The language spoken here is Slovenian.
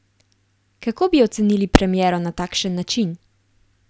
Kako bi ocenili premiero na takšen način?